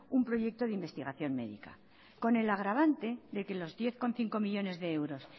un proyecto de investigación médica con el agravante de que los diez coma cinco millónes de euros